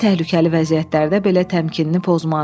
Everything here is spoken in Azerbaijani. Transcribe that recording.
ən təhlükəli vəziyyətlərdə belə təmkinini pozmazdı.